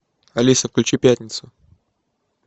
алиса включи пятницу